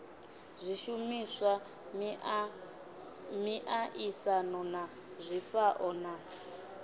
zwishumiswa miaisano na zwifhao na